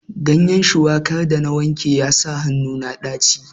Ganyen shuwakar da na wanke ya sa hannu na ɗaci.